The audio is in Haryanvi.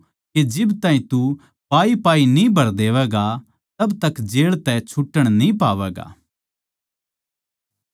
मै तेरै तै कहूँ सूं के जिब ताहीं तू पाईपाई न्ही भर देवैगा जिद ताहीं जेळ तै छुटण न्ही पावैगा